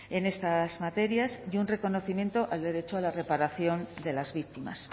en estas materias y un reconocimiento al derecho a la reparación de las víctimas